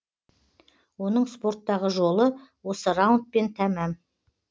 оның спорттағы жолы осы раундпен тәмам